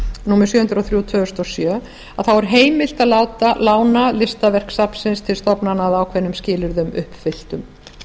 númer sjö hundruð og þrjú tvö þúsund og sjö er heimilt að lána listaverk safnsins til stofnana að ákveðnum skilyrðum uppfylltum